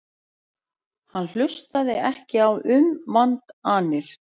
Hann hlustaði ekki á umvandanir.